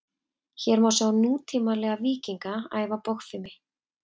hér má sjá nútímalega „víkinga“ æfa bogfimi